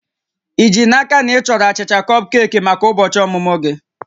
Ị ji n'aka na ị chọrọ achịcha kọpkeeki maka ụbọchị ọmụmụ gị?